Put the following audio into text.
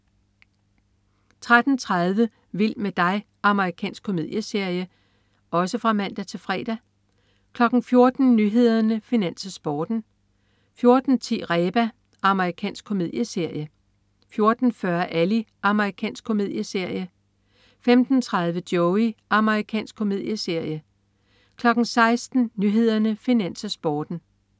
13.30 Vild med dig. Amerikansk komedieserie (man-fre) 14.00 Nyhederne, Finans, Sporten (man-fre) 14.10 Reba. Amerikansk komedieserie (man-fre) 14.40 Ally. Amerikansk komedieserie (man-fre) 15.30 Joey. Amerikansk komedieserie (man-fre) 16.00 Nyhederne, Finans, Sporten (man-fre)